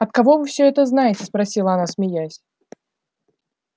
от кого вы всё это знаете спросила она смеясь